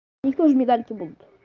у них тоже медальки будут